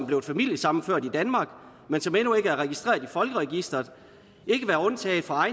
blevet familiesammenført i danmark men som endnu ikke er registreret i folkeregisteret ikke være undtaget fra